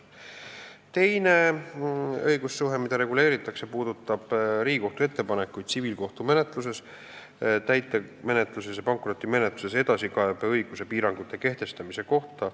Teine õigussuhe, mida reguleeritakse, puudutab Riigikohtu ettepanekuid tsiviilkohtumenetluses, täitemenetluses ja pankrotimenetluses edasikaebeõiguse piirangute kehtestamise kohta.